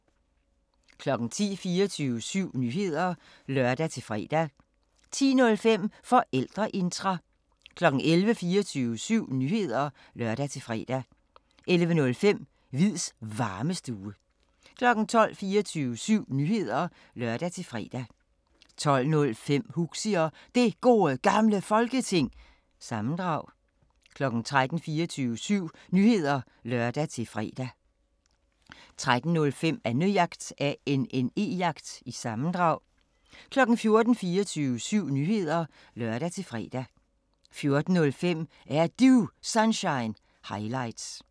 10:00: 24syv Nyheder (lør-fre) 10:05: Forældreintra 11:00: 24syv Nyheder (lør-fre) 11:05: Hviids Varmestue 12:00: 24syv Nyheder (lør-fre) 12:05: Huxi Og Det Gode Gamle Folketing- sammendrag 13:00: 24syv Nyheder (lør-fre) 13:05: Annejagt – sammendrag 14:00: 24syv Nyheder (lør-fre) 14:05: Er Du Sunshine – highlights